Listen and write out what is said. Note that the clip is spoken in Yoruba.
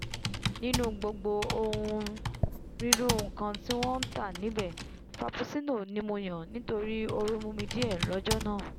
nínú gbogbo onírúirú nkan mímu tí wọ́n ntà níbẹ̀ frapuccinno ni mo yàn nítorí ooru mú díẹ̀ lọ́jọ́ náà